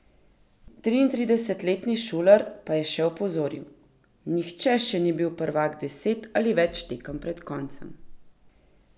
Triintridesetletni Šuler pa je še opozoril: 'Nihče še ni bil prvak deset ali več tekem pred koncem.